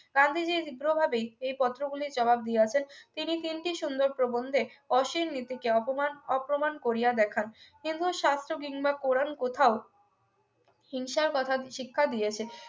গান্ধীজী তীব্রভাবেই এই পত্র গুলির জবাব দিয়েছেন তিনি তিনটি সুন্দর প্রবন্ধে অশ্লীল নীতিকে অপমান এবং প্রমাণ করিয়া ব্যাখ্যা হিন্দু শাস্ত্র কিংবা কোরআন কোথাও হিংসা বাধা শিক্ষা দিয়েছে